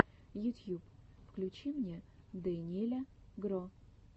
ютьюб включи мне дэниеля гро